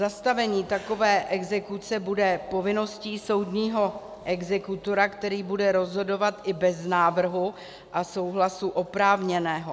Zastavení takové exekuce bude povinností soudního exekutora, který bude rozhodovat i bez návrhu a souhlasu oprávněného.